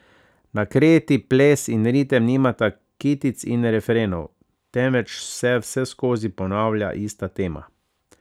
Na Kreti ples in ritem nimata kitic in refrenov, temveč se vseskozi ponavlja ista tema.